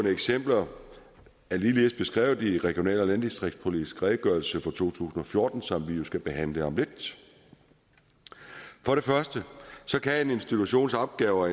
eksempler er ligeledes beskrevet i regional og landdistriktspolitisk redegørelse fra to tusind og fjorten som vi jo skal behandle om lidt for det første kan en institutions opgaver